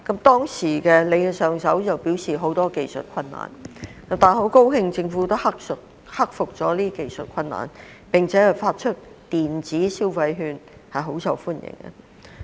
當時，上一任局長表示有很多技術困難，我很高興今年政府克服了技術困難，並且發出電子消費券，非常受歡迎。